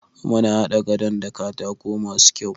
Muna haɗa gadon da katako masu kyau.